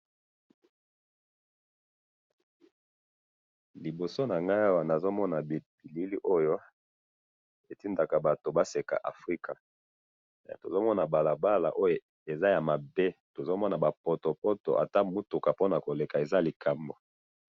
Na moni balabala ya mabe, na mituka po na koleka eza pasi.